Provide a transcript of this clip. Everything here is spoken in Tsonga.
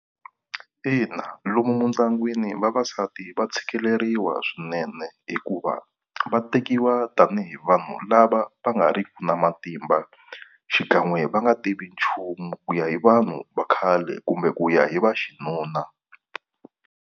Ina, lomu mindyangwini vavasati va tshikeleriwa swinene hikuva va tekiwa tani hi vanhu lava va nga riki na matimba xikan'we va nga tivi nchumu ku ya hi vanhu va khale kumbe ku ya hi va xinuna.